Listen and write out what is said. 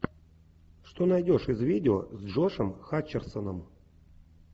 что найдешь из видео с джошем хатчерсоном